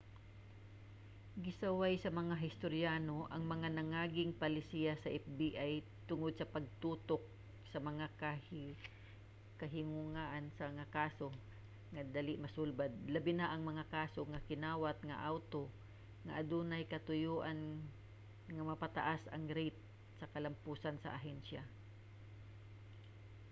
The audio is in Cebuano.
gisaway sa mga historyano ang mga nangaging palisiya sa fbi tungod sa pagtutok sa mga kahinguhaan sa mga kaso nga dali masulbad labi na ang mga kaso sa kinawat nga awto nga adunay katuyoan nga mapataas ang rate sa kalampusan sa ahensya